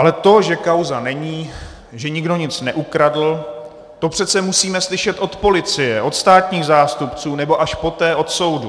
Ale to, že kauza není, že nikdo nic neukradl, to přece musíme slyšet od policie, od státních zástupců, nebo až poté od soudu.